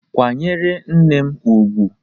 Kwa nyere nne m ugwu!